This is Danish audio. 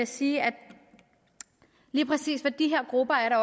sige at lige præcis for de her grupper er der